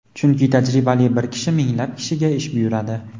Chunki tajribali bir kishi minglab kishiga ish buyuradi..